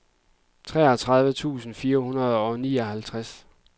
treogtredive tusind fire hundrede og nioghalvtreds